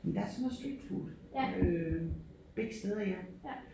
Men der sådan noget streetfood øh begge steder ja